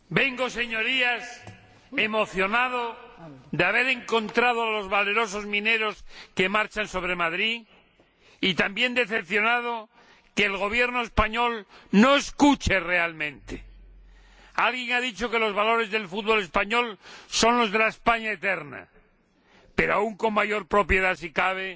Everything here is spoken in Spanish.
Señora Presidenta, Señorías, vengo emocionado tras haber encontrado a los valerosos mineros que marchan sobre Madrid, y también decepcionado por el hecho de que el Gobierno español no escuche realmente. Alguien ha dicho que los valores del fútbol español son los de la España eterna. Pero aún con mayor propiedad, si cabe,